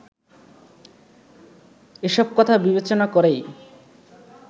এসব কথা বিবেচনা করেই